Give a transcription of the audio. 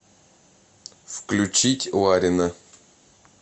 включить ларина